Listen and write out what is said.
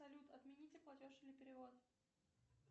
салют отмените платеж или перевод